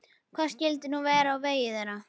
Hvað skyldi nú verða á vegi þeirra?